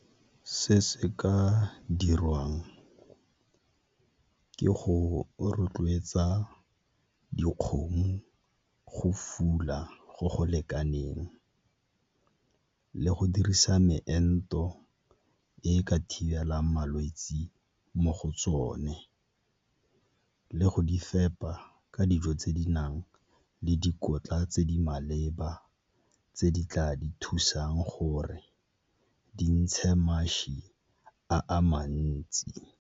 Se se ka dirwang ke go rotloetsa dikgomo go fula go go lekaneng le go dirisa meento e e ka thibelang malwetse mo go tsone, le go di fepa ka dijo tse di nang le dikotla tse di maleba tse di tla di thusang gore di ntshe mašwi a a mantsi.